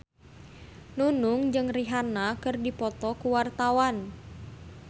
Nunung jeung Rihanna keur dipoto ku wartawan